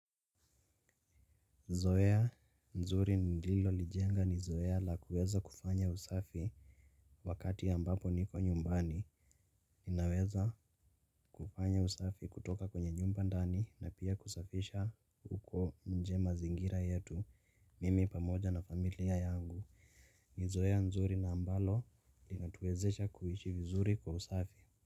Zoeya nzuri nililolijenga ni zoeya la kuweza kufanya usafi wakati ambapo niko nyumbani, ninaweza kufanya usafi kutoka kwenye nyumba ndani na pia kusafisha uko nje mazingira yetu, mimi pamoja na familia yangu, ni zoeya nzuri na ambalo linatuwezesha kuishi vizuri kwa usafi.